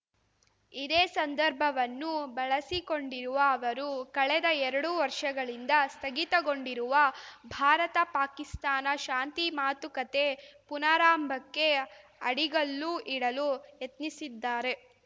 ಇದೇ ಸಂದರ್ಭವನ್ನು ಬಳಸಿಕೊಂಡಿರುವ ಅವರು ಕಳೆದ ಎರಡು ವರ್ಷಗಳಿಂದ ಸ್ಥಗಿತಗೊಂಡಿರುವ ಭಾರತ ಪಾಕಿಸ್ತಾನ ಶಾಂತಿ ಮಾತುಕತೆ ಪುನಾರಂಭಕ್ಕೆ ಅಡಿಗಲ್ಲು ಇಡಲು ಯತ್ನಿಸಿದ್ದಾರೆ